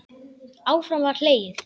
Áfram var hlegið.